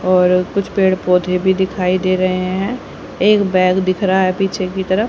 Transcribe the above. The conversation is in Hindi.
और कुछ पेड़ पौधे भी दिखाई दे रहे हैं एक बैग दिख रहा है पीछे की तरफ--